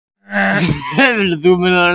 Það mun hafa verið í gær.